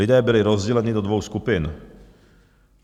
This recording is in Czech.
Lidé byli rozděleni do dvou skupin.